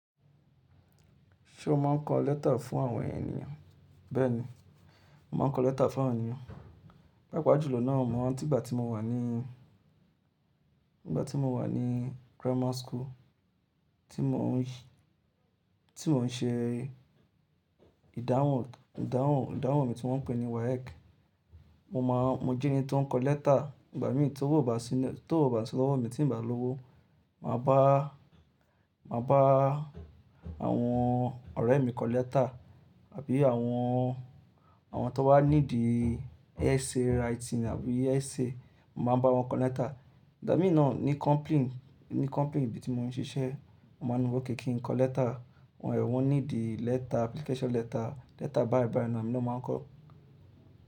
Ṣé o máa ń kọ lẹ́tà fún àwọn ènìyàn? Bẹ́ẹ̀ni, mà á ń kọ lẹ́tà fún àwọn ènìyàn. Pä́pa jùlọ náà mọ̀ ọ́n. Nígbà tí mo wà ní, nígbà tí mo wà ní grammar school tí mò ń ṣe ìdáhùn, ìdáhùn, ìdáhùn mi tí wọ́n ń pè ní WAEC, mo máa, mo jẹ́ ẹni tó ń kọ lẹ́tà. Ìgbà mí tó wọ̀ bà sílẹ̀, tó wọ̀ bà sí lówó mi tí ń bà lówo, mà á bá, mà á bá àwọn ọ̀rẹ́ mi kọ lẹ́tà àbí àwọn, àwọn tó wá ní dì essay writing àbí essay, mà á bá wọn kọ lẹ́tà. Ìgbà mí náà ní company, ní company ibi tí mò ń ṣiṣẹ́, wọ́n máa ní wọ́ kẹ̀ kí n kọ lẹ́tà. Àwọn ẹ̀wọ́n ní dì lẹ́tà application letter, lẹ́tà báýì báýì ni emi náà máa ń kọ.